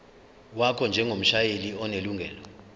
wakho njengomshayeli onelungelo